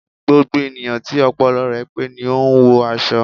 Gbogbo ènìyàn tí ọpọlọ rẹ pé ni o n wọ aṣọ